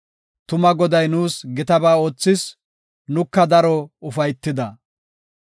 Tuma Goday nuus gitaba oothis; nuka daro ufaytida.